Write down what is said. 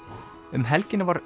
um helgina var